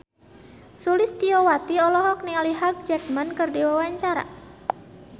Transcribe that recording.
Sulistyowati olohok ningali Hugh Jackman keur diwawancara